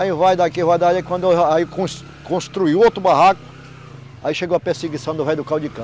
Aí vai daqui, vai daqui, quando, aí cons, construiu outro barraco, aí chegou a perseguição do velho do caldo de cana.